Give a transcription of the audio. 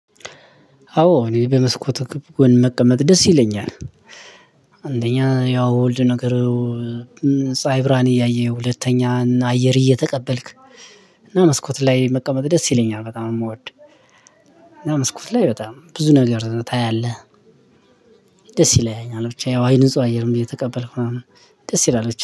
አዎ፤ እኔ በመስኮት ጎን መቀመጥ ደስ ይለኛል። አንደኛ፣ ያው ወልድ ነገር የፀሀይ ብርሃን እያየሁ፣ ሁለተኛ አየር እየተቀበልክ፣ እና መስኮት ላይ መቀመጥ ደስ ይለኛል፤ በጣም ነው ምወድ። እና መስኮት ላይ በጣም ብዙ ነገር ታያለህ። ደስይለኛል ብቻ ያው አይን ንጹህ አየር እየተቀበልኩ ምናምን ደስይላል ብቻ